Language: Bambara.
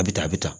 A bɛ taa a bɛ tan